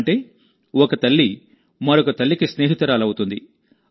అంటేఒక తల్లి మరొక తల్లికి స్నేహితురాలు అవుతుంది